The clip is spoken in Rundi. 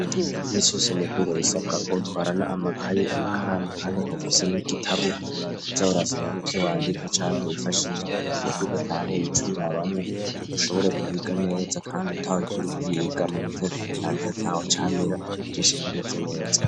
Imisi yose mu kwiga bisabwa ko utwarana amakaye, amakaramu kandi ukaba ufise n'igitabo uza urasomamwo ivyo wandika canke wifashisha kugira ngo ivyo udatahuye uce ubirabamwo, ushobore kwiga neza kandi utarushe uriko uriga dushobore mu mutekano ntangere atacamira vyose bimeze neza.